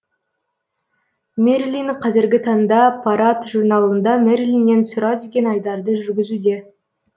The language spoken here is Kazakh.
мерилин қазіргі таңда парад журналында мерилиннен сұра деген айдарды жүргізуде